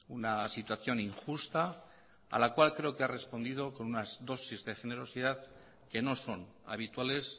una situación injusta a la cual creo que ha respondido con unas dosis de generosidad que no son habituales